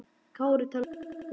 Kári talar pólsku.